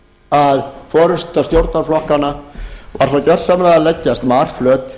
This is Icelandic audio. að forusta stjórnarflokkanna var svo gersamlega að leggjast marflöt